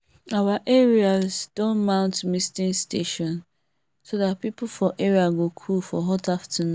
our neighbours don mount misting station so that people for area go cool for hot afternoon